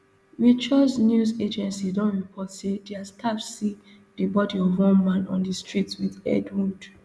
reuters news agency don report say dia staff see di body of one man on di street wit head wound